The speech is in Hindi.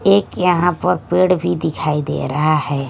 एक यहां पर पेड़ भी दिखाई दे रहा है।